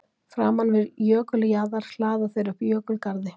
Framan við jökuljaðar hlaða þeir upp jökulgarði.